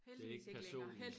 Det ik personen